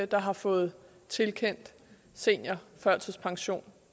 der har fået tilkendt seniorførtidspension